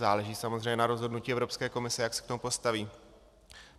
Záleží samozřejmě na rozhodnutí Evropské komise, jak se k tomu postaví.